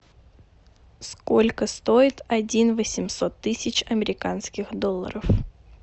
сколько стоит один восемьсот тысяч американских долларов